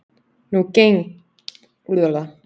Nú gengurðu of langt.